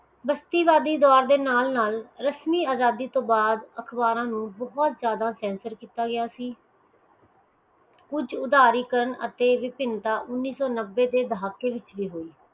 ਅਖਬਾਰਾਂ ਨੂੰ ਬਹੁਤ ਜ਼ਿਆਦਾ sensor ਕੀਤਾ ਗਿਆ ਸੀ ਕੁਝ ਉਧਾਰੀਕਾਰਨ ਅਤੇ ਵਜਹਿੰਤਾ ਉਣੀ ਸੋ ਨੱਬੇ ਦੇ ਦਹਾਕੇ ਵਿਚ ਵੀ ਹੋਈ